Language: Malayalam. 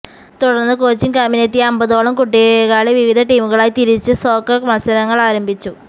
തുടര്ന്ന് കോച്ചിംഗ് ക്യാമ്പിനെത്തിയ അമ്പതോളം കുട്ടികളെ വിവിധ ടീമുകളായി തിരിച്ച് സോക്കര് മത്സരങ്ങള് ആരംഭിച്ചു